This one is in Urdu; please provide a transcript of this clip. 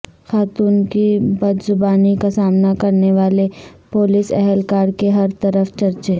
خاتون کی بدزبانی کا سامنا کرنے والے پولیس اہلکار کے ہرطرف چرچے